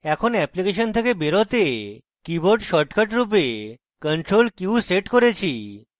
এখন অ্যাপ্লিকেশন থেকে বেরোতে keyboard shortcut রূপে ctrl q set করেছি